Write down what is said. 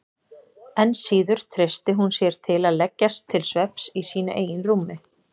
Enn síður treysti hún sér til að leggjast til svefns í sínu eigin rúmi.